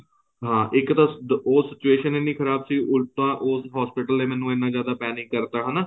ਹਾਂ ਇੱਕ ਤਾਂ ਉਹ situation ਐੱਨੀ ਖ਼ਰਾਬ ਸੀ ਉੱਲਟਾ ਉਸ hospital ਨੇ ਮੈਨੂੰ ਐਨਾ ਜਿਆਦਾ panic ਕਰਤਾ ਹਨਾ